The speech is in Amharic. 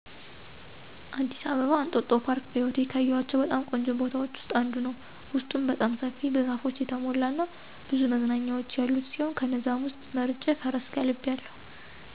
አዲስ አበባ እንጦጦ ፓርክ በህይወቴ ካየኋቸው በጣም ቆንጆ ቦታዎች ውስጥ አንዱ ነው። ውስጡም በጣም ሰፊ፣ በዛፎች የተሞላ እና ብዙ መዝናኛዎች ያሉት ሲሆን ከነዛም ውስጥ መርጬ ፈረስ ጋልቢያለሁ።